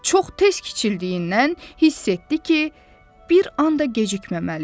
Çox tez kiçildiyindən hiss etdi ki, bir an da gecikməməlidir.